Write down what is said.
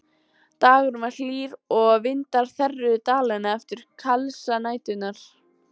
Dagurinn var hlýr og vindar þerruðu Dalina eftir kalsa næturinnar.